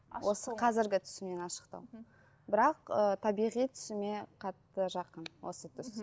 осы қазіргі түсімнен ашықтау бірақ ы табиғи түсіме қатты жақын осы түс